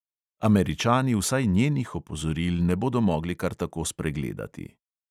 Američani vsaj njenih opozoril ne bodo mogli kar tako spregledati.